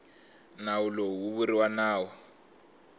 nawu lowu wu vuriwa nawu